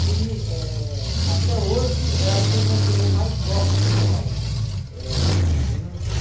E eh até hoje é a turma que eu mais gosto de trabalhar, eh com meninos de...